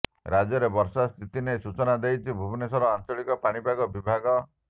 ରାଜ୍ୟରେ ବର୍ଷା ସ୍ଥିତି ନେଇ ସୂଚନା ଦେଇଛି ଭୁବନେଶ୍ୱର ଆଞ୍ଚଳିକା ପାଣିପାଗ ବିଭାଗ